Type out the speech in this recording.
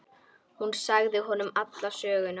Hún sagði honum alla söguna.